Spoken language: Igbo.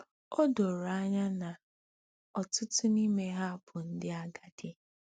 O doro anya na ọtụtụ n'ime ha bụ ndị agadi.